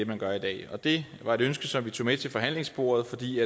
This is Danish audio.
man gør i dag det var et ønske som vi tog med til forhandlingsbordet fordi